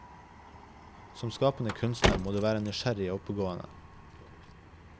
Som skapende kunstner må du være nysgjerrig og oppegående.